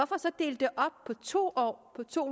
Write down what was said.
to år på to